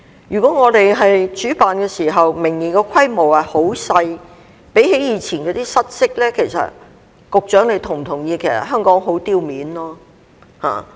如果我們明年主辦時規模很小，相比以往失色，局長是否同意香港會很丟臉？